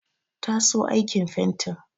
Ta so aikin fentin.